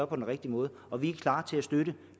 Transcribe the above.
på den rigtige måde og vi er klar til at støtte